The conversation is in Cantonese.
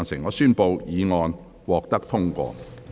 我宣布議案獲得通過。